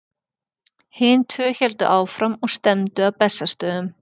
hin tvö héldu áfram og stefndu að bessastöðum